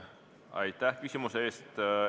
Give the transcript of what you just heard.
Aitäh küsimuse eest!